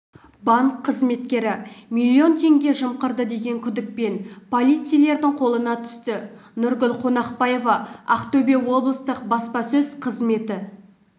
банк қызметкері миллион теңге жымқырды деген күдікпен полицейлердің қолына түсті нұргүл қонақбаева ақтөбе облыстық баспасөз қызметі